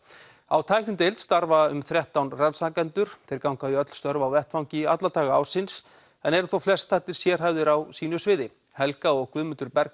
á tæknideild starfa um þrettán rannsakendur þeir ganga í öll störf á vettvangi alla daga ársins en eru þó flestallir sérhæfðir á sínu sviði helga og Guðmundur